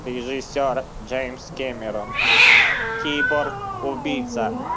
режиссёр джеймс кэмерон киборг убийца